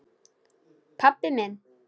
Pabbi minn?